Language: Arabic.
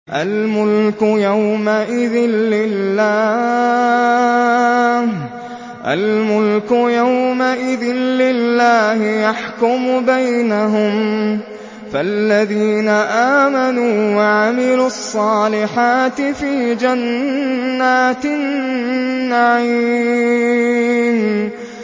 الْمُلْكُ يَوْمَئِذٍ لِّلَّهِ يَحْكُمُ بَيْنَهُمْ ۚ فَالَّذِينَ آمَنُوا وَعَمِلُوا الصَّالِحَاتِ فِي جَنَّاتِ النَّعِيمِ